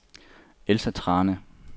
Elsa Thrane